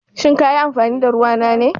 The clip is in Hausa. Shin ka yi amfani da ruwa na ne?